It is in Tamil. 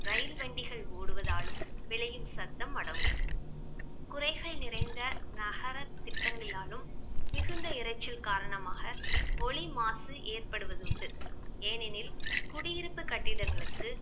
ரயில் வண்டிகள் ஓடுவதாலும் விளையும் சத்தம் அடங்கும் குறைகள் நிறைந்த நகர திட்டங்கிளாலும் மிகுந்த இரைச்சல் காரணமாக ஒலி மாசு ஏற்படுவதுண்டு ஏனெனில் குடியிருப்பு கட்டிடங்களுக்கு